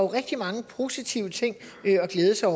rigtig mange positive ting at glæde sig